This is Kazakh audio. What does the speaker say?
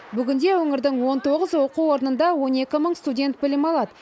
бүгінде өңірдің он тоғыз оқу орнында он екі мың студент білім алады